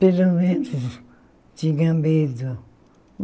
Pelo menos tinha medo.